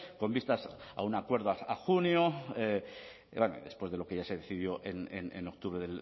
con vistas a un acuerdo a junio después de lo que ya se decidió en octubre